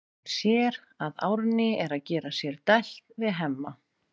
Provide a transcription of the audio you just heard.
Hún sér að Árný er að gera sér dælt við Hemma.